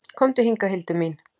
Komdu hingað, Hildur mín!